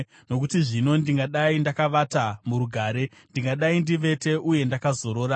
Nokuti zvino ndingadai ndakavata murugare; ndingadai ndivete uye ndakazorora